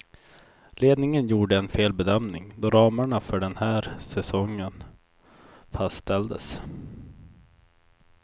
Ledningen gjorde en felbedömning då ramarna för den här säsongen fastställdes.